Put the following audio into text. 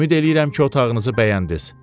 Ümid eləyirəm ki, otağınızı bəyəndiniz.